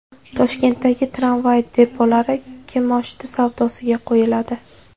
Toshkentdagi tramvay depolari kimoshdi savdosiga qo‘yiladi.